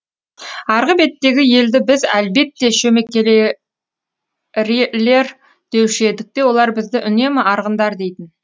арғы беттегі елді біз әлбетте шөмекейлер деуші едік те олар бізді үнемі арғындар дейтін